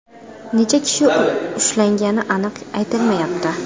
Necha kishi ushlangani aniq aytilmayapti.